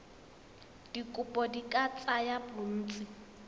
dikopo di ka tsaya bontsi